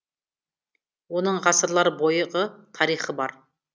оның ғасырлар бойғы тарихы бар